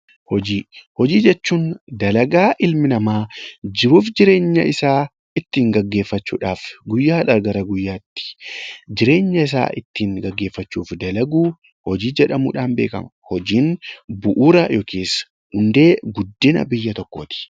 Hojii jechuun dalagaa ilmi namaa jiruu fi jireenya isaa ittiin gaggeeffachuudhaaf guyyaa guyyaatti jireenya isaa gaggeeffachuuf itti dalagu hojii jedhamuun beekamti. Hojiin hundee guddina biyya tokkooti